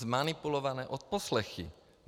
Zmanipulované odposlechy.